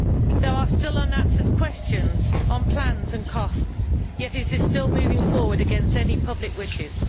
There are still unanswered questions on plans and costs, yet the project is still moving forward against any public wishes.